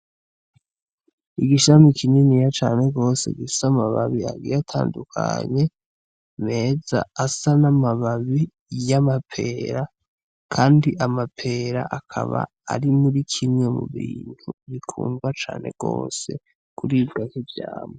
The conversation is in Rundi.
Igishami kininiya cane gose gifise amababi agiye atandukanye meza , asa n'amababi y'amapera kandi amapera akaba ari mu kimwe mu bintu bikundwa cane gose kuribwa nk'ivyamwa.